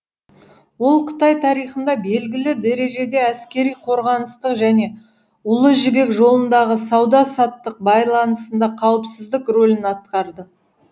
ол қытай тарихында белгілі дәрежеде әскери қорғаныстық және ұлы жібек жолындағы сауда саттық байланысында қауіпсіздік рөлін атқарды